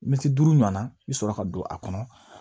Mɛtiri duuru ɲɔna i bɛ sɔrɔ ka don a kɔnɔ